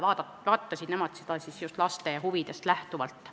Nemad vaatasid seda just laste huvidest lähtuvalt.